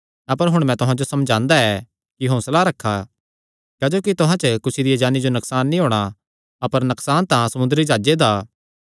अपर हुण मैं तुहां जो समझांदा ऐ कि हौंसला रखा क्जोकि तुहां च कुसी दिया जान्नी जो नकसान नीं होणा अपर नकसान तां समुंदरी जाह्जे दा